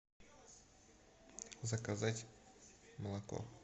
заказать молоко